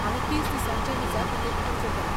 हांवें तीस दिसांच्या विजा खातीर अर्ज केला.